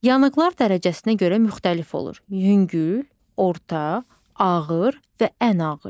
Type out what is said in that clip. Yanıqlar dərəcəsinə görə müxtəlif olur: yüngül, orta, ağır və ən ağır.